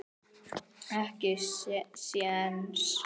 Ekki séns.